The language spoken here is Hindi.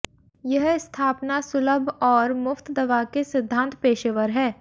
यह स्थापना सुलभ और मुफ्त दवा के सिद्धांत पेशेवर है